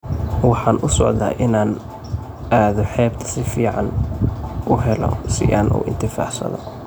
Waxan usocdha inan cado xebta sifan wax uhelo si an uuintifacsadho.